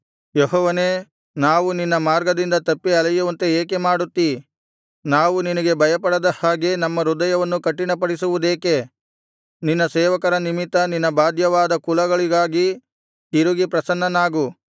ಯೆಹೋವನೇ ನಾವು ನಿನ್ನ ಮಾರ್ಗದಿಂದ ತಪ್ಪಿ ಅಲೆಯುವಂತೆ ಏಕೆ ಮಾಡುತ್ತೀ ನಾವು ನಿನಗೆ ಭಯಪಡದ ಹಾಗೆ ನಮ್ಮ ಹೃದಯವನ್ನು ಕಠಿನಪಡಿಸುವುದೇಕೆ ನಿನ್ನ ಸೇವಕರ ನಿಮಿತ್ತ ನಿನ್ನ ಬಾಧ್ಯವಾದ ಕುಲಗಳಿಗಾಗಿ ತಿರುಗಿ ಪ್ರಸನ್ನನಾಗು